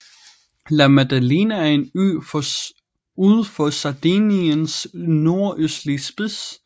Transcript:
La Maddalena er en ø ud for Sardiniens nordøstlige spids